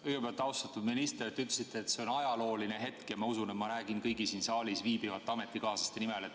Kõigepealt, austatud minister, te ütlesite, et see on ajalooline hetk, ja ma usun, et ma räägin kõigi siin saalis viibivate ametikaaslaste nimel.